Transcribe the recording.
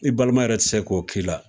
I balima yɛrɛ tɛ se k'o k'i la,